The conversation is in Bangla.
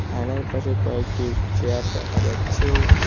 আয়নার পাশে কয়েকটি চেয়ার দেখা যাচ্ছে।